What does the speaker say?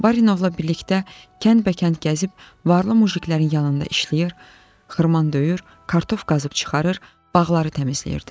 Barinovla birlikdə kənd-bəkənd gəzib, varlı muziklərinin yanında işləyir, xırman döyür, kartof qazıb çıxarır, bağları təmizləyirdi.